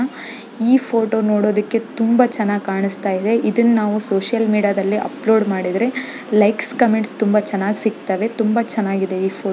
ಈ ಫೋಟೋ ನೋಡೋದಕ್ಕೆ ತುಂಬಾ ಚೆನ್ನಾಗಿ ಕಾಣಿಸ್ತಾ ಇದೆ. ಇದನ್ನು ನಾವು ಸೋಶಿಯಲ್ ಮೀಡಿಯಾ ಆದಲ್ಲಿ ಅಪ್ಲೋಡ್ ಮಾಡಿದ್ರೆ ಲೈಕ್ ಕಮೆಂಟ್ಸ್ ತುಂಬಾ ಚೆನ್ನಾಗಿ ಸಿಗ್ತವೆ ತುಂಬಾ ಚೆನ್ನಾಗಿದೆ. ಈ ಫೋಟೋ ಕೂಡ--